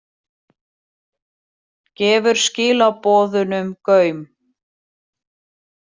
Gefur skilaboðunum gaum